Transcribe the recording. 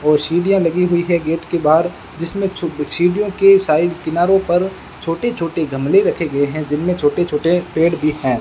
और सीढ़ियां लगी हुई हैं गेट के बाहर जिसमें सीढ़ियों के साइड किनारो पर छोटे छोटे गमले रखे गए हैं जिनमें छोटे छोटे पेड़ भी हैं।